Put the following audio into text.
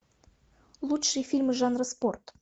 лучшие фильмы жанра спорт